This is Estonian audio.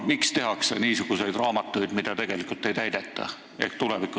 Miks tehakse niisuguseid raamatuid, milles ettenähtut tegelikult ei täideta?